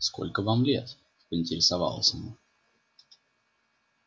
сколько вам лет поинтересовалась она